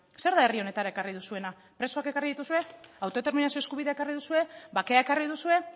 zer da herri honetara ekarri duzuena presoak ekarri dituzue autodeterminazio eskubidea ekarri duzue bakea ekarri duzue